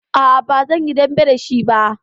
A'a, ba zan yi dambe da shi ba.